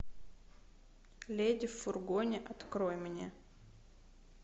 леди в фургоне открой мне